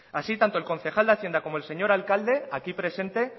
así tanto el concejal de hacienda como el señor alcalde aquí presente